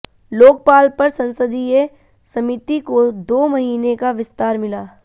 लोकपाल पर संसदीय समिति को दो महीने का विस्तार मिला